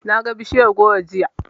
Naga bishiyar goro jiya.